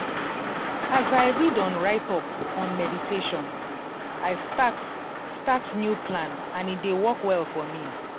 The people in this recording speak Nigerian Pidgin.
as i read on write up on meditation i start start new plan and e dey work well for me.